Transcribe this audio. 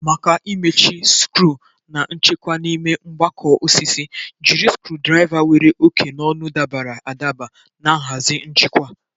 Maka imechi skru na nchekwa n'ime mgbakọ osisi, jiri screwdriver nwere oke n'ọnụ dabara adaba na nhazi njikwa.